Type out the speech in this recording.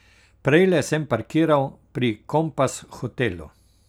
Prejle sem parkiral pri Kompas hotelu.